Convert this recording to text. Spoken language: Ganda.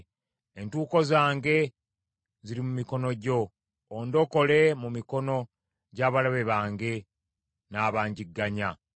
Entuuko zange ziri mu mikono gyo; ondokole mu mikono gy’abalabe bange n’abangigganya.